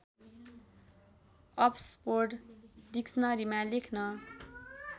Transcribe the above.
अब्सपोर्ड डिक्सनरीमा लेख्न